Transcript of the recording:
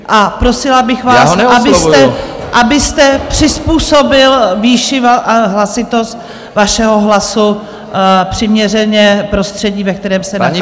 A prosila bych vás , abyste přizpůsobil výši hlasitosti svého hlasu přiměřeně prostředí, ve kterém se nacházíme.